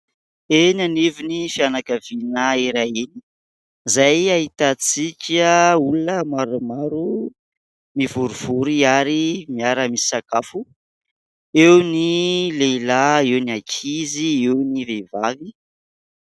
Eny anivon'ny fianakaviana iray izay ahitantsika olona maromaro mivorivory ary miara misakafo, eo ny lehilahy, eo ny ankizy, eo ny vehivavy.